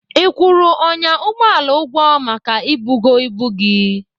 Ị kwụrụ ọnyà ụgbọala ụgwọ maka ibugo ibu gị?